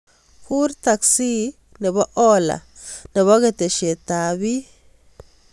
Kuur teksi ab ola nebo keteshet ab bii